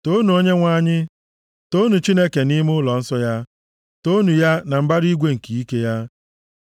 Toonu Onyenwe anyị. Toonu Chineke nʼime ụlọnsọ ya. Toonu ya, na mbara igwe nke ike ya.